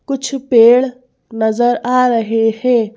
कुछ पेड़ नजर आ रहे हैं।